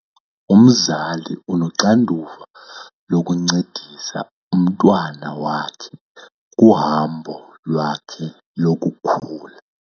Umzali unoxanduva lokuncedisa umntwana wakhe kuhambo lwakhe lokukhula.